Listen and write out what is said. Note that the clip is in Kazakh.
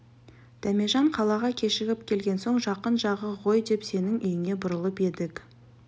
дәмежан қалаға кешігіп келген соң жақын жағы ғой деп сенің үйіңе бұрылып едік